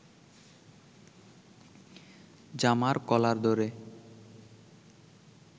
জামার কলার ধরে